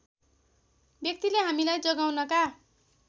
व्यक्तिले हामीलाई जगाउनका